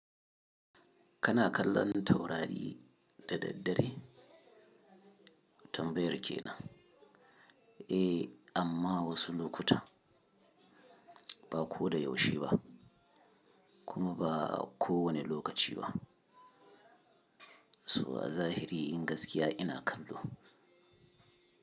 Kana kallon taurari da daddare? Tambayar kenan. Eh, amma wasu lokuta, ba ko da yaushe ba, kuma ba kowane lokaci ba. So a zahiri gaskiya ina kallo.